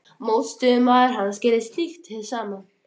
Mótstöðumaður hans gerði slíkt hið sama.